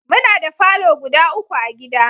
Muna da falo guda uku a gida